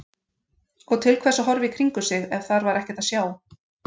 Og til hvers að horfa í kringum sig ef þar var ekkert að sjá?